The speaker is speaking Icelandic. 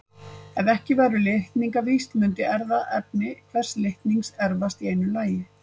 Ef ekki væru litningavíxl mundi erfðaefni hvers litnings erfast í einu lagi.